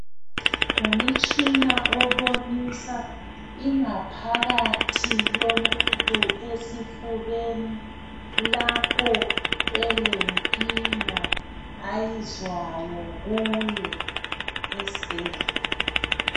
Ngumutshina obonisa ingaphakathi yomuntu esifubeni. Lapho elenkinga ayizwayo kuye, esibhedlela.